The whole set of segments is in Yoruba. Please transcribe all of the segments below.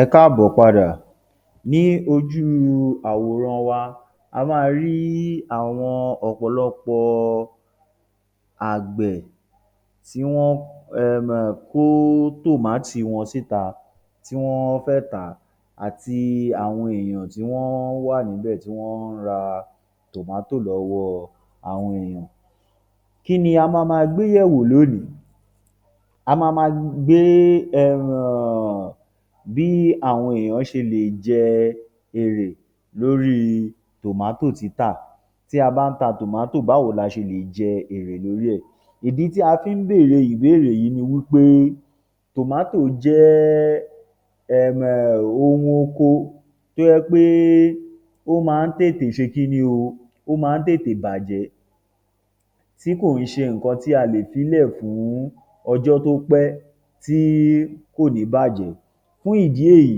Ẹ káàbọ̀ padà, ní ojú àwòrán wa, a máa rí ọ̀pọ̀lọpọ̀ àgbẹ̀ tí wọ́n um kó tòmátì wọn síta tí wọ́n fẹ́ tà á àti àwọn èèyàn tí wọ́n wà níbẹ̀ tí wọ́n ń ra tomato lọ́wọ́ àwọn èeyàn. Kí ni a máa máa gbé yẹ̀wò lónìí? A máa máa gbé um bí àwọn èèyàn ṣe lè jẹ èrè lórí tomato títà. Tí a bá ń ta tomato, báwo la ṣe lè jẹ èrè lórí ẹ̀? Ìdí tí a fi ń bèrè ìbéèrè yí ni wí pé jẹ́ um ohun oko tó jẹ́ pé ó máa ń tètè ṣe kí ni o, ó má ń tètè bàjẹ́ tí kò ń ṣe nǹkan tí a le ílẹ̀ fún ọjọ́ to pẹ́ ti kò ní bàjẹ́. Fún ìdí èyí,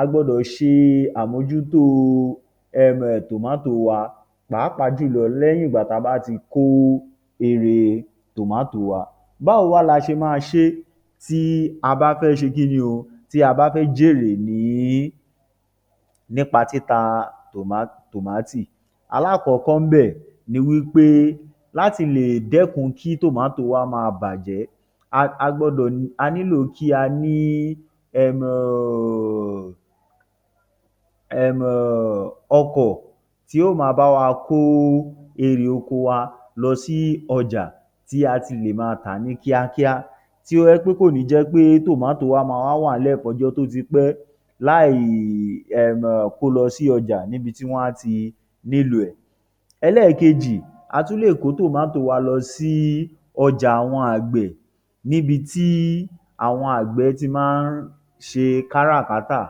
a gbọdọ̀ ṣe àmójútó um tomato wa pàápàá jù lọ lẹ́yìn ìgbà tá a bá ti kó erè tomato wa. Báwo wá la ṣe máa ṣe tí a bá fẹ́ ṣe kí ni o, tí a bá fẹ́ jèrè lé nípa títa tòmátì. Alákọ̀ọ́kọ́ ńbẹ̀ ni wí pé láti lè dẹ́kun kí tomato wa máa bàjẹ́, a a gbọdọ̀, a nílò kí a ní um ọkọ̀ tí ó máa bá wa kó erè oko wa lọ sí ọjà tí a ti lè máa tà á ní kíá kíá, tí ó jẹ́ pé kò ní jẹ́ pé tomato wa máa wá wà nílẹ̀ fún ọjọ́ tó ti pẹ́ láè um kó o lọ sí ọjà níbi tí wọ́n á ti nílò ẹ̀. Ẹlẹ́ẹ̀kejì, a tún lè kó tomato wa lọ sí ọjà àwọn àgbẹ̀ níbi tí àwọn àgbẹ̀ ti máa ń ṣe kárà-kátà.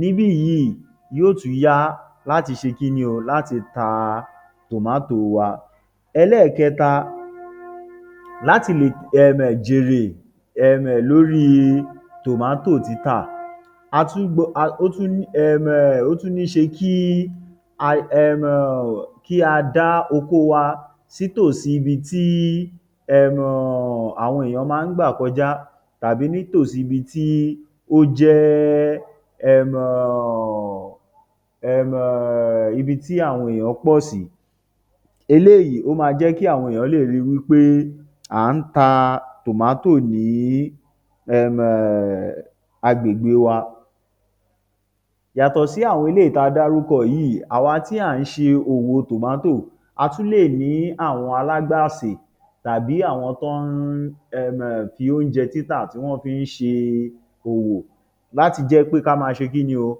Níbí yíì, yóó tún yá láti ṣe kí ni o, yóó tún yá láti ta tomato wa. Ẹlẹ́ẹ̀kẹta, láti lè um jèrè um lórí tomato títa, a tún, ó tún um ó tún níṣe kí um kí a dá oko wa sí tòsí ibi tí um àwọn èèyàn máa ń gbà kọjá tàbí ní tòsí ibi tó jẹ́ um, ibi tí àwọn èèyàn pọ̀ sí. Eléyìí ó máa jẹ́ kí àwọn èèyàn lè rí i wí pé à ń ta tomato ní um agbègbè wa. Yàtọ̀ sí àwọn eléyìí tá a dárúkọ yíì, àwa tí à ń ṣe òwò tomato, a tún lè ní àwọn alágbàsè tàbí àwọn tó ń um fi óúnjẹ títà tí wọ́n fi ń ṣe òwò láti jé pé ká máa ṣe kí ni o,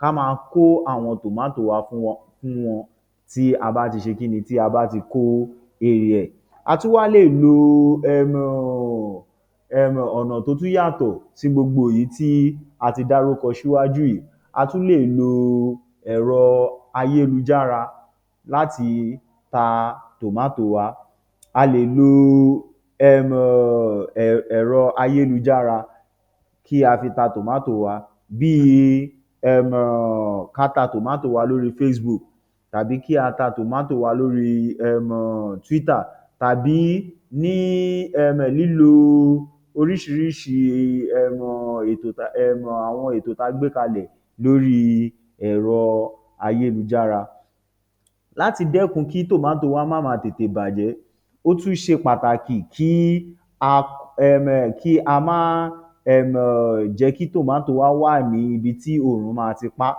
ká máa kó àwọn tomato wa fún wọn tí a bá ti ṣe kí ni, tí a bá tí kó erè ẹ̀. A tún wá lè lo um ọ̀nà tó tún yàtọ̀ sí àwọn èyí tí a ti dárúkọ síwájú yìí. A tún lè lo ẹ̀rọ ayélujára láti ta tomato wa. A lè lo um ẹ̀rọ ayélujára kí á fi ta tomato wa bí i um ká ta tomato wa lórí Facebook tàbí kí á ta tomato wa lórí um Twitter tàbí ní um lílo oríṣiríṣi um ètò um àwọn ètò um ètò tá a gbé kalẹ̀ lóríi ẹ̀rọ ayélujára. Láti dẹ́kun kí tomato wa má máa tètè bàjẹ́, ó tún ṣe pàtàkì kí á um kí a máá um kí a máá jẹ́ kí tomato wa wà ní ibi tí òòrùn á máa ti pa á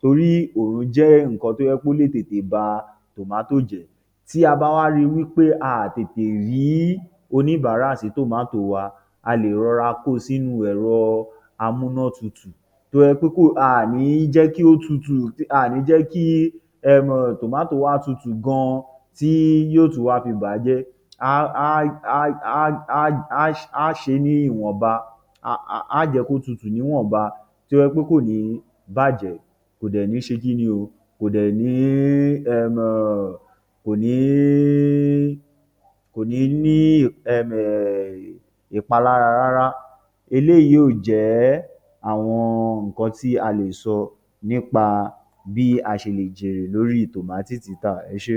torí òòrùn jẹ́ nǹkan tó jẹ́ pé ó lè tètè ba tomato jẹ́. Tí a bá wá rí i wí pé a ò tètè rí oníbárà sí tomato wa, a lè rọra kó o sínú ẹ̀rọ amúnátutù tó jẹ́ pé aà ní jẹ́ kí ó tutù, aà ní jẹ́ kí um tomato wa kí ó tutù gan-an tí yóó tún wá fi bà á jẹ́. Aá ṣe é ní ìwọ̀nba, aá jẹ́ kó tutù ní ìwọ̀nba tó jẹ́ pé kò ní bàjẹ́, kò dẹ̀ ní ṣe kí ni o, kò ní um kò ní kò ní ní um ìpalára rárá. Eléyìí yóò jẹ́ àwọn nǹkan tí a lè sọ nípá bí a ṣe lè jèrè lórí tòmátì títà. Ẹ ṣé.